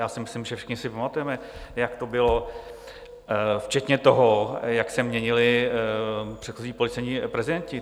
Já si myslím, že všichni si pamatujeme, jak to bylo, včetně toho, jak se měnili předchozí policejní prezidenti.